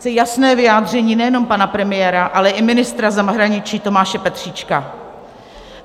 Chci jasné vyjádření nejenom pana premiéra, ale i ministra zahraničí Tomáše Petříčka.